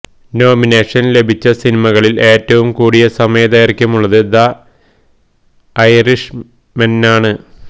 നോമിനേഷന് ലഭിച്ച സിനിമകളില് എറ്റവും കൂടിയ സമയ ദൈര്ഘ്യമുളളത് ദ ഐറിഷ്മെനാണ്